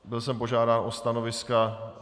Byl jsem požádán o stanoviska.